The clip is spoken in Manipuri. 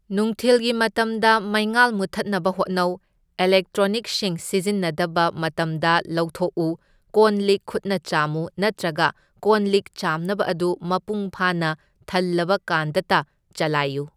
ꯅꯨꯡꯊꯤꯜꯒꯤ ꯃꯇꯝꯗ ꯃꯩꯉꯥꯜ ꯃꯨꯊꯠꯅꯕ ꯍꯣꯠꯅꯧ, ꯏꯂꯦꯛꯇ꯭ꯔꯣꯅꯤꯛꯁꯤꯡ ꯁꯤꯖꯤꯟꯅꯗꯕ ꯃꯇꯝꯗ ꯂꯧꯊꯣꯛꯎ, ꯀꯣꯟ ꯂꯤꯛ ꯈꯨꯠꯅ ꯆꯥꯝꯃꯨ ꯅꯠꯇ꯭ꯔꯒ ꯀꯣꯟ ꯂꯤꯛ ꯆꯥꯝꯅꯕ ꯑꯗꯨ ꯃꯄꯨꯡꯐꯥꯅ ꯊꯜꯂꯕ ꯀꯥꯟꯗꯇ ꯆꯂꯥꯏꯌꯨ꯫